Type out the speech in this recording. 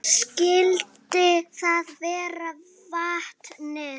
Skyldi það vera vatnið?